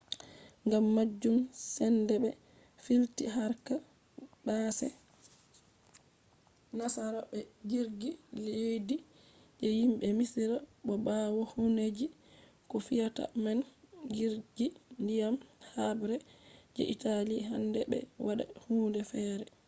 gam majum sende be filti harka base nasara be jirgi leddi je himbe misira. bo bawo hundeji ko feata man jirgi ndiyam habre je italy handai be wada hunde fere